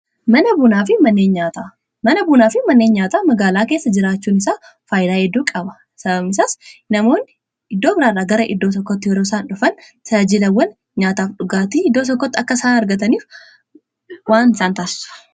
mana buunaa fi manneen nyaataa magaalaa keessa jiraachuun isaa faayidaa hedduu qaba. sababni isaas namoonni iddoo biraarra gara iddoo tokkotti yeroo isaan dhufan tajaajilawwan nyaataaf dhugaatii iddoo tokkotti akka isaan argataniif waan isaan taassisuuf.